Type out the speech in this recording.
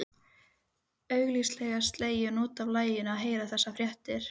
Augsýnilega slegin út af laginu að heyra þessar fréttir.